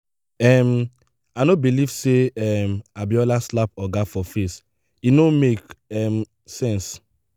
um i no believe say um abiola slap oga for face. e no make um sense.